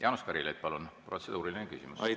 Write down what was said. Jaanus Karilaid, palun, protseduuriline küsimus!